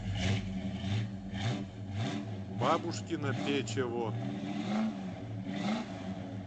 бабушкино печево